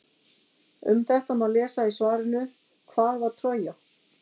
Um þetta má lesa í svarinu Hvað var Trója?